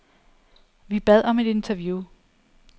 Vi bad om et interview.